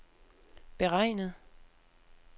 beregnet